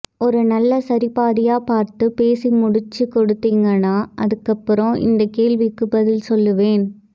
ஒரு நல்ல சரி பாதியா பார்த்து பேசி முடிச்சு கொடுத்தீங்கன்னா அதுக்கப்பறம் இந்த கேள்விக்கு பதில் சொல்லுவேன்